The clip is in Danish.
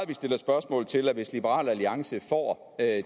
vi stiller spørgsmål til hvad det hvis liberal alliance får